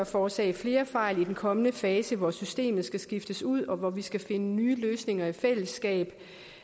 forårsage flere fejl i den kommende fase hvor systemet skal skiftes ud og hvor man skal finde nye løsninger i fællesskab